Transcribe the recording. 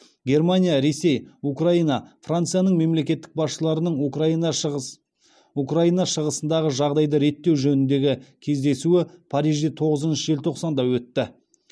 германия ресей украина францияның мемлекеттік басшыларының украина шығыс украина шығысындағы жағдайды реттеу жөніндегі кездесуі парижде тоғызыншы желтоқсанда өтті